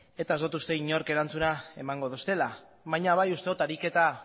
eta ez dut uste inork erantzuna emango didala baina bai uste dut ariketa